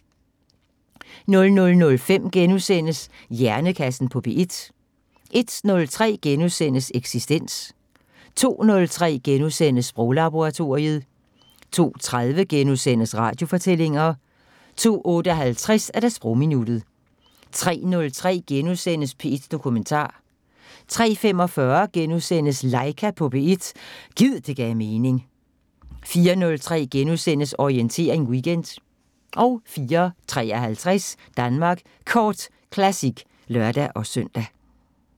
00:05: Hjernekassen på P1 * 01:03: Eksistens * 02:03: Sproglaboratoriet * 02:30: Radiofortællinger * 02:58: Sprogminuttet 03:03: P1 Dokumentar * 03:45: Laika på P1 – gid det gav mening * 04:03: Orientering Weekend * 04:53: Danmark Kort Classic (lør-søn)